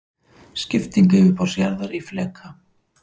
Skipting yfirborðs jarðar í fleka.